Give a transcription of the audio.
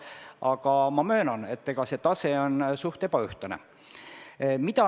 Aga ma möönan, et tase on üsna ebaühtlane.